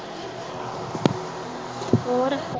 ਹੋਰ